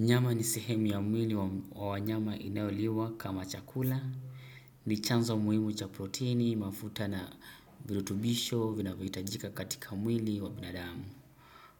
Nyama ni sehemu ya mwili wa wanyama inayoliwa kama chakula, ni chanzo muhimu cha proteini, mafuta na virutubisho, vinavyohitajika katika mwili wa binadamu.